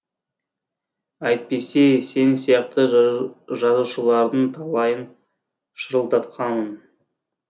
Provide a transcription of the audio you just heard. әйтпесе сен сияқты жазушылардың талайын шырылдатқамын